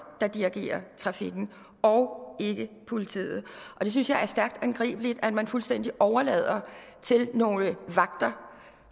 der dirigerede trafikken og ikke politiet og det synes jeg er stærkt angribeligt altså at man fuldstændig overlader til nogle vagter